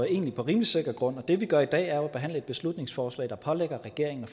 egentlig på rimelig sikker grund det vi gør i dag er jo at behandle et beslutningsforslag der pålægger regeringen